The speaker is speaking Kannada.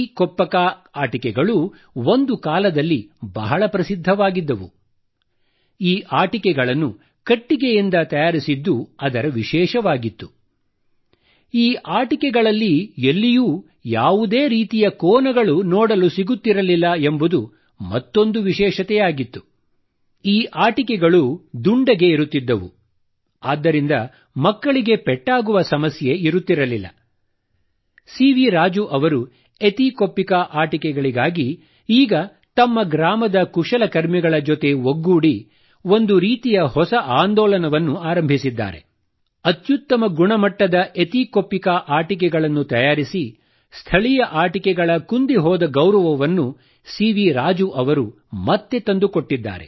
ಕೊಪ್ಪಿಕಾ ಆಟಿಕೆಗಳನ್ನು ತಯಾರಿಸಿ ಸ್ಥಳೀಯ ಆಟಿಕೆಗಳ ಕುಂದಿಹೋದ ಗೌರವವನ್ನು ಸಿವಿ ರಾಜು ಅವರು ಮತ್ತೆ ತಂದುಕೊಟ್ಟಿದ್ದಾರೆ